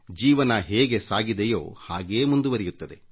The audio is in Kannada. ಜೀವನ ಹೇಗೆ ಸಾಗಿದೆಯೋ ಹಾಗೇ ಮುಂದುವರಿಯುತ್ತದೆ